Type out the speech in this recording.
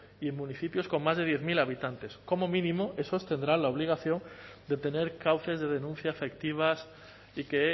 y en municipios con más de diez mil habitantes como mínimo esos tendrán la obligación de tener cauces de denuncia efectivas y que